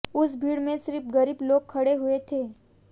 उस भीड़ में सिर्फ़ गरीब लोग खड़े हुए थे